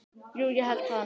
Jú ég held það nú.